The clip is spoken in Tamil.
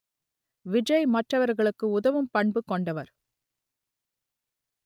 விஜய் மற்றவர்களுக்கு உதவும் பண்பு கொண்டவர்